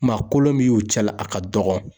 Maa kolon bi ye u y'u cɛla, a ka dɔgɔn.